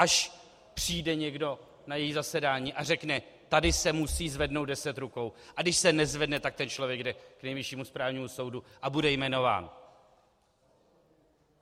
Až přijde někdo na její zasedání a řekne: Tady se musí zvednout 10 rukou, a když se nezvedne, tak ten člověk jde k Nejvyššímu správnímu soudu a bude jmenován.